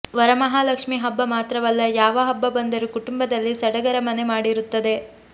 ವರಮಹಾಲಕ್ಷ್ಮೀ ಹಬ್ಬ ಮಾತ್ರವಲ್ಲ ಯಾವ ಹಬ್ಬ ಬಂದರೂ ಕುಟುಂಬದಲ್ಲಿ ಸಡಗರ ಮನೆಮಾಡಿರುತ್ತದೆ